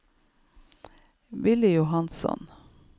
Villy Johansson